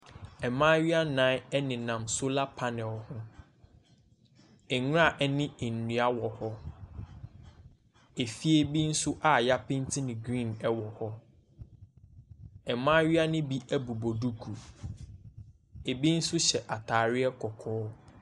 Mmaayewa nnan nenam solar panel ho. Nwura ne nnua wɔ hɔ. Efie bi nso a wɔapenti no green wɔ hɔ. Mmaayewa no bi bobɔ duku. Ɛbi nso hyɛ atadeɛ kɔkɔɔ.